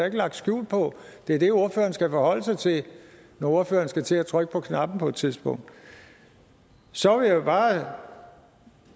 ikke lagt skjul på det er det ordføreren skal forholde sig til når ordføreren skal til at trykke på knappen på et tidspunkt så vil jeg bare